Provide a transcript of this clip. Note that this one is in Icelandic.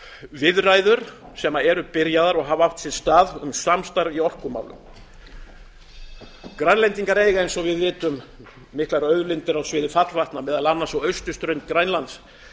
viðræður sem eru byrjaðar og hafa átt sér stað um samstarf í orkumálum grænlendingar eiga eins og við vitum miklar auðlindir á sviði fallvatna meðal annars á austurströnd grænlands